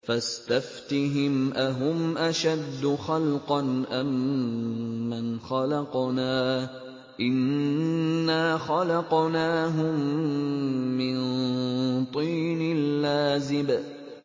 فَاسْتَفْتِهِمْ أَهُمْ أَشَدُّ خَلْقًا أَم مَّنْ خَلَقْنَا ۚ إِنَّا خَلَقْنَاهُم مِّن طِينٍ لَّازِبٍ